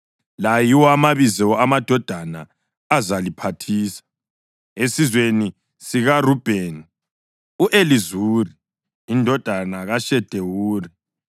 La yiwo amabizo amadoda azaliphathisa: esizweni sikaRubheni, u-Elizuri indodana kaShedewuri: